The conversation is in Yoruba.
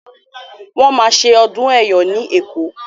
Wọ́n máa ṣe ọdún Ẹ̀yọ̀ ní Èkó.